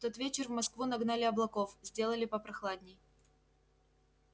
в тот вечер в москву нагнали облаков сделали попрохладней